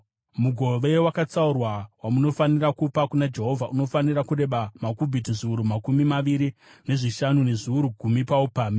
“Mugove wakatsaurwa wamunofanira kupa kuna Jehovha unofanira kureba makubhiti zviuru makumi maviri nezvishanu, nezviuru gumi paupamhi.